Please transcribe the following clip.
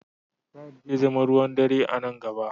Tired zai zama ruwan dare a nan gaba.